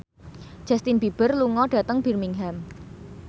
Justin Beiber lunga dhateng Birmingham